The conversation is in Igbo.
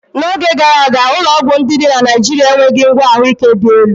N'oge gara aga, ụlọọgwụ ndị dị na Naịjirịa enweghị ngwa ahụike dị elu.